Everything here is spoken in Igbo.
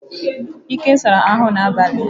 Ike sara ahụ na abalị.